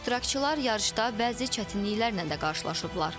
İştirakçılar yarışda bəzi çətinliklərlə də qarşılaşıblar.